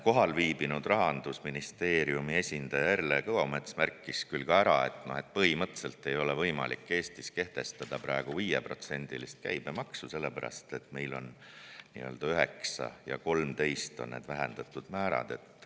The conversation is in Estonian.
Kohal viibinud Rahandusministeeriumi esindaja Erle Kõomets märkis küll ära, et põhimõtteliselt ei ole praegu Eestis võimalik kehtestada 5%‑list käibemaksu, sest vähendatud määrad on 9% ja 13%.